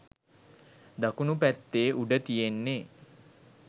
දකුණු පැත්තේ උඩ තියෙන්නේ